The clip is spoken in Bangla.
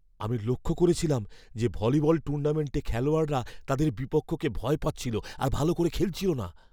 আমি লক্ষ করেছিলাম যে ভলিবল টুর্নামেন্টে খেলোয়াড়রা তাদের বিপক্ষকে ভয় পাচ্ছিল আর ভাল করে খেলছিল না।